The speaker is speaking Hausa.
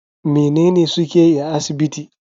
Menene suke yi a asibiti?